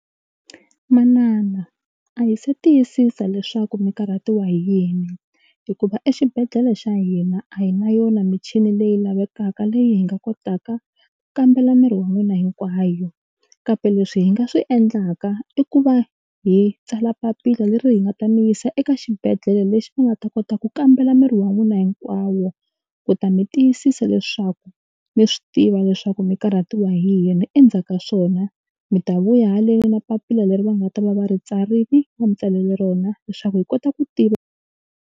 Manana a hi se tiyisisa leswaku mi karhatiwa hi yini hikuva exibedhlele xa hina a hi na yona michini leyi lavekaka leyi hi nga kotaka ku kambela miri wa n'wina hinkwayo kambe leswi hi nga swi endlaka i ku va hi tsala papila leri hi nga ta mi yisa eka xibedhlele lexi va nga ta kota ku kambela miri wa n'wina hinkwawo ku ta mi tiyisisa leswaku mi swi tiva leswaku mi karhatiwa hi yini endzhaku ka swona mi ta vuya haleni na papila leri va nga ta va va ri tsarile va mi tsalele rona leswaku hi kota ku tiva.